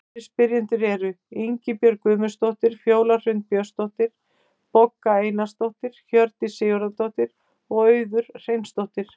Aðrir spyrjendur eru: Ingibjörg Guðmundsdóttir, Fjóla Hrund Björnsdóttir, Bogga Einarsdóttir, Hjördís Sigurðardóttir og Auður Hreinsdóttir.